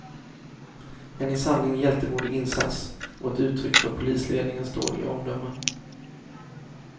En i sanning hjältemodig insats och ett uttryck för polisledningens dåliga omdöme.